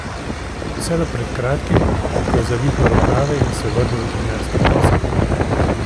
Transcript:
Vse do pred kratkim, ko je zavihal rokave in se vrnil v trenerski posel.